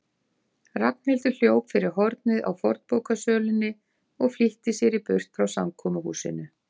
Ragnhildur hljóp fyrir hornið á fornbókasölunni og flýtti sér í burt frá samkomuhúsinu.